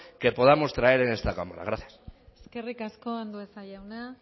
que podamos traer a esta cámara gracias eskerrik asko andueza jauna